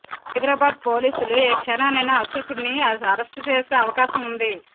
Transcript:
సైబరాబాద్ పోలీసులు ఏ క్షణాన్నైనా అశోక్ను అరెస్టు చేసే అవకాశం ఉంది